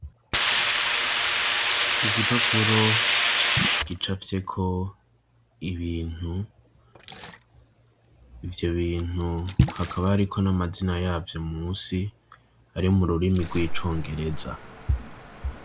Igipapuro gicafye ko ibintu ivyo bintu hakaba ariko n'amazina yavyo munsi ari mu rurimi rw'icongereza.